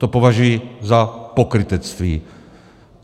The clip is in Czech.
To považuji za pokrytectví.